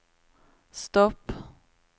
stopp